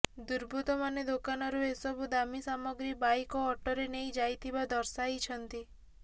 ଦୁର୍ବୃତ୍ତମାନେ ଦୋକାନରୁ ଏସବୁ ଦାମୀ ସାମଗ୍ରୀ ବାଇକ୍ ଓ ଅଟୋରେ ନେଇ ଯାଇଥିବା ଦର୍ଶାଇଛନ୍ତି